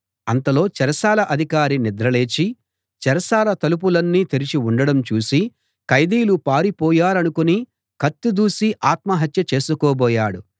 అంతలో చెరసాల అధికారి నిద్ర లేచి చెరసాల తలుపులన్నీ తెరచి ఉండడం చూసి ఖైదీలు పారిపోయారనుకుని కత్తి దూసి ఆత్మహత్య చేసుకోబోయాడు